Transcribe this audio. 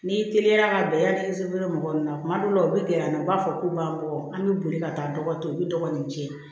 N'i teliyara ka bɛn yanni i be se yɔrɔ mɔgɔ min na kuma dɔw la u be gɛrɛ an na u b'a fɔ k'u b'an bɔ an be boli ka taa dɔgɔ to u be dɔgɔ ni ce